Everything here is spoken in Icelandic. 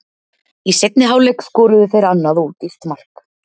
Í seinni hálfleik skoruðu þeir annað ódýrt mark.